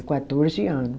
Quatorze ano.